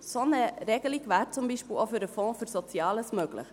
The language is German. So eine Regelung wäre zum Beispiel auch für den Fonds für Soziales möglich.